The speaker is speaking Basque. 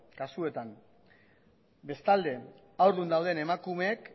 kasuetan bestalde haurdun dauden emakumeek